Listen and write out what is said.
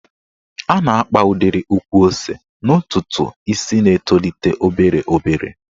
A na-akpa udiri ukwu ose n'ntụtụ isi na-etolite obere obere.